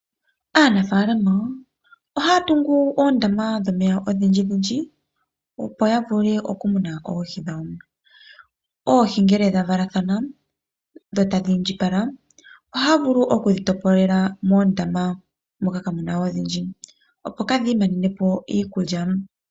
Aanafalama ohaya tungu oondama dhomeya odhindji dhindji opo ya vule oku muna oohi dhawo. Oohi ngele dha valathana dho tadhi indjipala ohaya vulu okudhi topolela moondama moka kamuna odhindji opo kadhi manenepo iikulya.